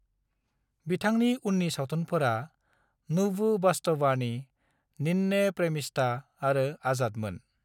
बिथांनि उननि सावथुनफोरा 'नुवु वास्तवानी', 'निन्ने प्रेमिष्ठा' आरो 'आजाद' मोन।